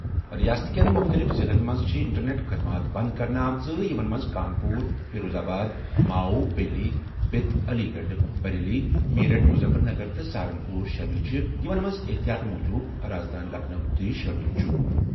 رِیاست کٮ۪ن مُختٔلِف ضِلعن منٛز چھِ اِنٹرنیٚٹ خٔدمات بنٛد کرنہٕ آمٕژ یِمن منٛز Kanpur, Firozabad, Mau, Pilibhit, Aligarh, Bareilly, Meerut, Muzaffarnagar تہٕ سہارن پوٗر شٲمِل چھِ، یِمن منٛز احتِیاطی تدابیر پٲٹھۍ رازدٲنہِ لکھنؤ تہِ شٲمِل چھِ۔